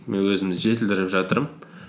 мен өзімді жетілдіріп жатырмын